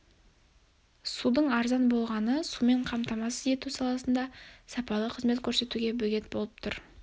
судың арзан болғаны сумен қамтамасыз ету саласында сапалы қызмет көрсетуге бөгет болып тұр